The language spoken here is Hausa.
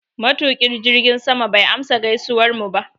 Matuƙin jirgin sama bai amsa gaisuwarmu ba.